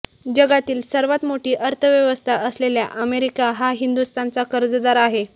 जगातील सर्वात मोठी अर्थव्यवस्था असलेल्या अमेरिका हा हिंदुस्थानचा कर्जदार आहे